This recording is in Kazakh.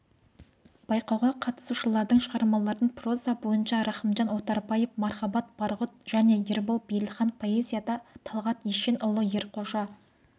байқауға қатысушылардың шығармаларын проза бойынша рахымжан отарбаев мархабат байғұт және ербол бейілхан поэзияда талғат ешенұлы ерқожа